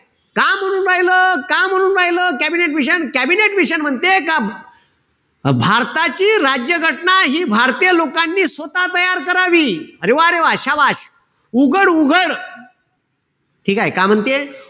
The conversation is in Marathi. का म्हणून राहील? का म्हणू राहील कॅबिनेट मिशन? कॅबिनेट मिशन म्हणते का, भारताची राज्य घटना हि भारतीय लोकांनी स्वतः तयार करावी. अरे वा रे वा! शाबास! उघड-उघड, ठीकेय? काय म्हणते?